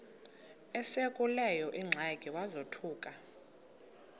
esekuleyo ingxaki wazothuka